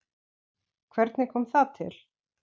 Hvernig kom það til?